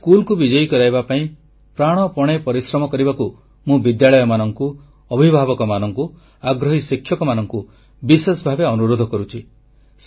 ନିଜ ସ୍କୁଲକୁ ବିଜୟୀ କରାଇବା ପାଇଁ ପ୍ରାଣପଣେ ପରିଶ୍ରମ କରିବାକୁ ମୁଁ ବିଦ୍ୟାଳୟମାନଙ୍କୁ ଅଭିଭାବକମାନଙ୍କୁ ଆଗ୍ରହୀ ଶିକ୍ଷକମାନଙ୍କୁ ବିଶେଷ ଭାବେ ଅନୁରୋଧ କରୁଛି